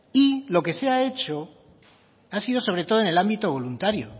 y lo que se ha hecho ha sido sobre todo en el ámbito voluntario